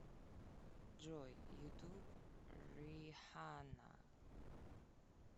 джой ютуб риханна